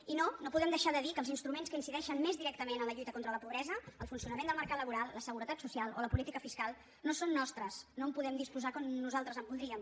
i no no podem deixar de dir que els instruments que incideixen més directament en la lluita contra la pobresa el funcionament del mercat laboral la seguretat social o la política fiscal no són nostres no en podem disposar com nosaltres voldríem